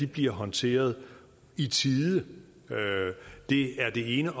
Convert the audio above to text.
bliver håndteret i tide det er det ene